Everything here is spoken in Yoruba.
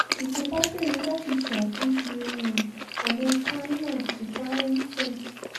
ìjọba ṣèlérí láti ṣàtúnṣe um ọ̀nà kaiama sí baruten